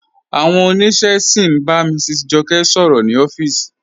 Awọn ọniṣẹ sí n bá Mrs Jọkẹ sọ̀rọ̀ ni ọ̀fíìsì.